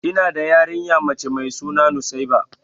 Ina da yarinya mace mai suna nusaiba.